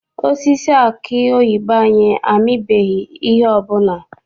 Osisi aki oyibo anyị amibeghị ihe ọbụla.